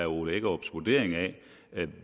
ole hækkerups vurdering af